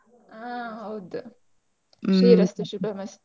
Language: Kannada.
ಹಾ ಹೌದ್ ಶ್ರೀರಸ್ತು ಶುಭಮಸ್ತು.